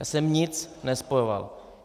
Já jsem nic nespojoval.